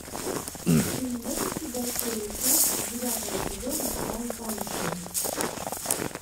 ты найдешь у себя серию пять девятого сезона ванпанчмен